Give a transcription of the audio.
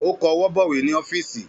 Ó kọwọ́ bọ̀wé ní ọ́fíìsì